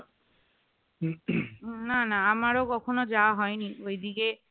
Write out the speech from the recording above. না না আমারও কখনো যাওয়া হয়নি ওই দিকে